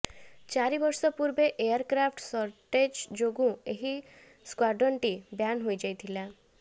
ଚାରିବର୍ଷ ପୂର୍ବେ aircraft shortage ଯୋଗୁ ଏହି ସ୍କ୍ୱାର୍ଡନଟି ବ୍ୟାନ୍ ହୋଇଯାଇଥିଲା